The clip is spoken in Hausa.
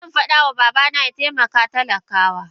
Zanfada ma babana yataimaka talaka wa.